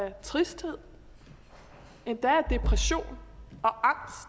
af tristhed endda af depression